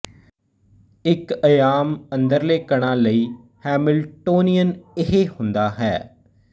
ਇੱਕ ਅਯਾਮ ਅੰਦਰਲੇ ਕਣਾਂ ਲਈ ਹੈਮਿਲਟੋਨੀਅਨ ਇਹ ਹੁੰਦਾ ਹੈ